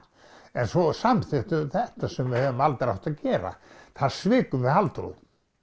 en svo samþykktum við þetta sem við hefðum aldrei átt að gera þar svikum við Halldóru